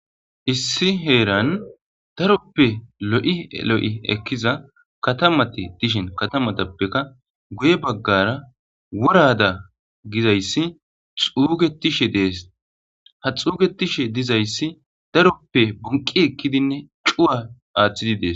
issi heeran daroppe lo7i lo7i ekkiza katamati dishin katamatappeka guye baggara worada gizayssi xuugetishe dees ha xuugetishe dizayssi daroppe bunqi ekkidinne cuwa aaththidi dees